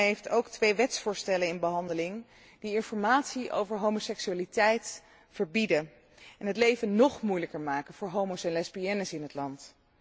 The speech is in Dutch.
Oekraïne heeft ook twee wetsvoorstellen in behandeling die informatie over homoseksualiteit verbieden en het leven nog moeilijker maken voor homo's en lesbiennes in het land.